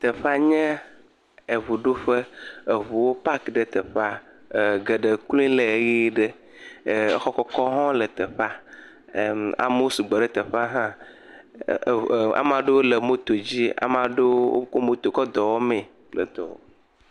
Teƒea nye eŋuɖoƒe, eŋuwo pak ɖe teƒea, geɖe kloe le ʋeyiʋi ɖe, exɔ kɔkɔwo hã le teƒea, erm.. amewo sugbɔ ɖe teƒea, hãa, ame aɖewo le moto dzi, ame aɖewo kɔ moto kɔ dɔ wɔmee…